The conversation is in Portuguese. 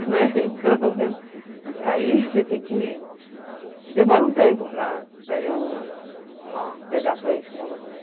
Né, então aí, você tem que... Demora um tempo para para eu pegar a fluência novamente.